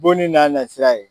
Bonni n'a nasira ye.